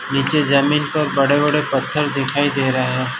नीचे जमीन को बड़े बड़े पत्थर दिखाई दे रहे हैं।